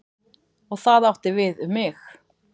Og það átti við um mig.